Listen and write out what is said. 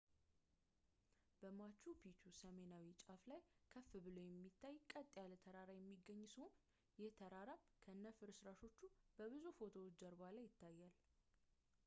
በmachu picchu ሰሜናዊ ጫፍ ላይ ከፍ ብሎ የሚታይ ቀጥ ያለ ተራራ የሚገኝ ሲሆን ይህ ተራራም ከነፍርስረሰሾቹ በብዙ ፎቶዎች ጀርባ ላይ ይታያል